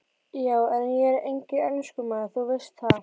Já en. ég er enginn enskumaður, þú veist það.